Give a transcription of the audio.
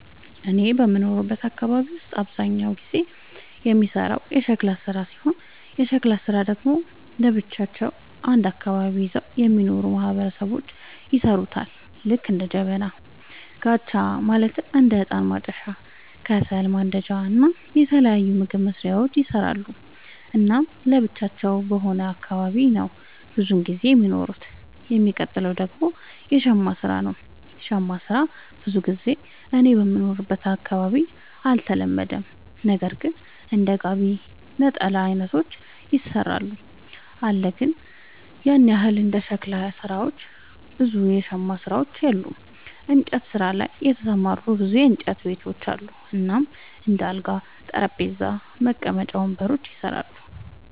እኔ በምኖርበት አካባቢ ውስጥ አብዛኛውን ጊዜ የሚሰራው የሸክላ ስራ ሲሆን የሸክላ ስራ ደግሞ ለብቻቸው አንድ አካባቢን ይዘው የሚኖሩ ማህበረሰቦች ይሠሩታል ልክ እንደ ጀበና፣ ጋቻ ማለትም እንደ እጣን ማጨሻ፣ ከሰል ማንዳጃ እና የተለያዩ ምግብ መስሪያዎችን ይሰራሉ። እናም ለብቻቸው በሆነ አካባቢ ነው ብዙም ጊዜ የሚኖሩት። የሚቀጥል ደግሞ የሸማ ስራ ነው, ሸማ ስራ ብዙ ጊዜ እኔ በምኖርበት አካባቢ አልተለመደም ነገር ግን እንደ ጋቢ፣ ነጠላ አይነቶችን ይሰራሉ አለ ግን ያን ያህል እንደ ሸክላ ሰሪዎች ብዙ የሸማ ሰሪዎች የሉም። እንጨት ስራ ላይ የተሰማሩ ብዙ የእንጨት ቤቶች አሉ እናም እንደ አልጋ፣ ጠረጴዛ፣ መቀመጫ ወንበሮችን ይሰራሉ።